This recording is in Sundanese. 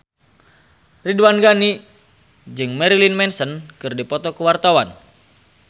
Ridwan Ghani jeung Marilyn Manson keur dipoto ku wartawan